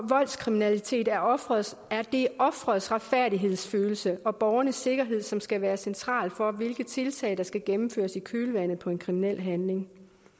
voldskriminalitet er offerets er offerets retfærdighedsfølelse og borgernes sikkerhed som skal være centralt for hvilke tiltag der skal gennemføres i kølvandet på en kriminel handling